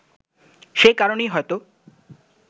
সে কারণেই হয়তো